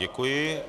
Děkuji.